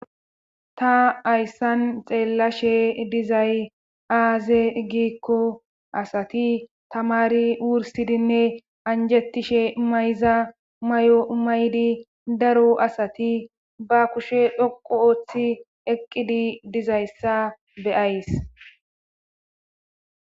ta hayssan xeellashe dizay aaze giikko asati tamari wursidinne anjettishe mayza mayo maydi daro asati ba kushe dhoqu ooththi eqqidi dizayssa beyays